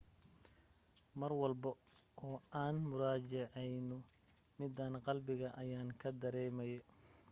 mar walbo oo aan muraajaceyno midaan qalbiga ayaanka dareemaye